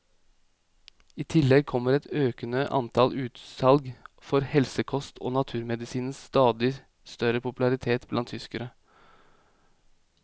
I tillegg kommer et økende antall utsalg for helsekost og naturmedisinens stadig større popularitet blant tyskerne.